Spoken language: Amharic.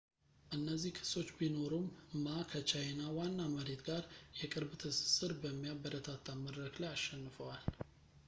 እነዚህ ክሶች ቢኖሩም ማ ከቻይና ዋና መሬት ጋር የቅርብ ትስስር በሚያበረታታ መድረክ ላይ አሸንፈዋል